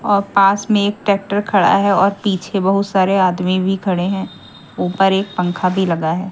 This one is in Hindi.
और पास में एक ट्रैक्टर खड़ा है और पीछे बहुत सारे आदमी भी खड़े हैं ऊपर एक पंखा भी लगा है।